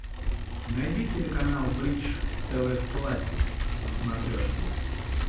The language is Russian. найди телеканал бридж тв классик на смотрешке